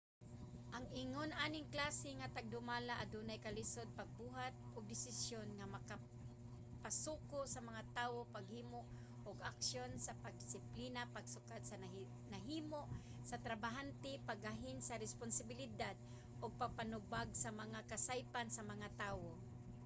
ang ingon aning klase nga tagdumala adunay kalisod sa pagbuhat og desisyon nga makapasuko sa mga tawo paghimo og aksyon sa pangdisiplina pagsukod sa nahimo sa trabahante paggahin sa responsibilidad ug pagpanubag sa mga kasaypanan sa mga tawo